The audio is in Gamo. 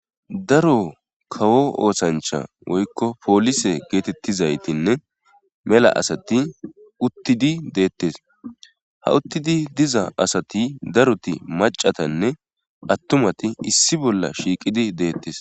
daro kawo oosancha woykko poolise geetettizaytinne mela astai uttidi deetes ha uttidi diza asati daroti maccaatinne attuumati issi bolla shiiqidi deettes